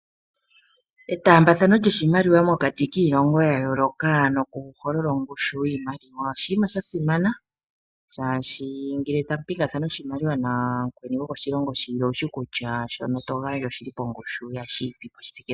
Etambathano yiimaliwa mokati kiilongo yayoloka noku holola ongushu yiimaliwa oshinima shasimana. Shashi ngele tamu pingathana oshimaliwa namukweni goko shilongo shilwe owushi kutya shono to gandja oshili pongushu yashi ipipo.